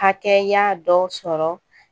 Hakɛya dɔ sɔrɔ